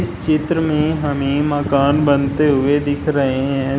इस चित्र में हमें मकान बनते हुए दिख रहे हैं।